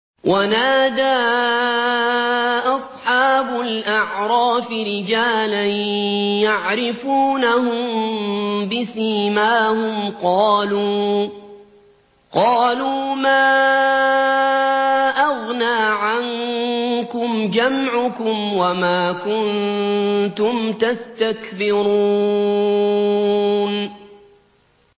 وَنَادَىٰ أَصْحَابُ الْأَعْرَافِ رِجَالًا يَعْرِفُونَهُم بِسِيمَاهُمْ قَالُوا مَا أَغْنَىٰ عَنكُمْ جَمْعُكُمْ وَمَا كُنتُمْ تَسْتَكْبِرُونَ